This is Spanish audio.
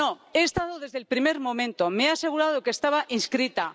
He estado desde el primer momento y me he asegurado de que estaba inscrita.